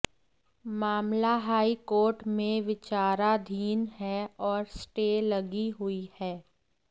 मामला हाईकोर्ट में विचाराधीन है औ्र स्टे लगी हुई है